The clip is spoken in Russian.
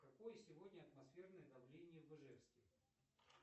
какое сегодня атмосферное давление в ижевске